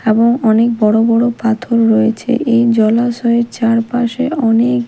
এবং অনেক বড় বড় পাথর রয়েছে এই জলাশয়ের চারপাশে অনেক--